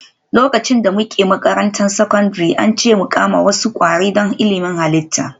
Lokacin da muke makarantar sakandare, an ce mu kama wasu kwari don ilimin halitta